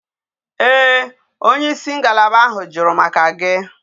Ee onye isi ngalaba ahu juru maka gi